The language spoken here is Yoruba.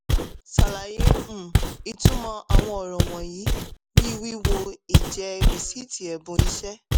ṣàlàyé um ìtumọ̀ àwọn ọ̀rọ̀ wọ̀nyí bí wíwo ìjẹ́ rìsíìtì ẹ̀bùn iṣẹ́.